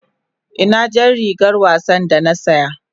Ina jar rigar wasa da na saya?